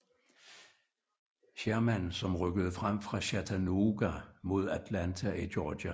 Sherman som rykkede frem fra Chattanooga mod Atlanta i Georgia